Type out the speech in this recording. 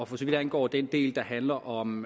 for så vidt angår den del der handler om